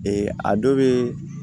a dɔ bɛ